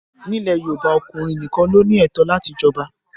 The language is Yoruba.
Ní ilẹ̀ Yorùbá, ọkùnrin nìkan ló ní ẹ̀tọ́ láti jọba